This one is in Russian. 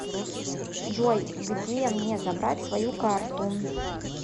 джой где мне забрать свою карту